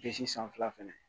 Bisi sanfɛla fɛnɛ